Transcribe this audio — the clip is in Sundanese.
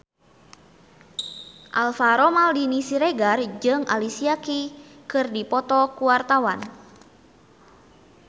Alvaro Maldini Siregar jeung Alicia Keys keur dipoto ku wartawan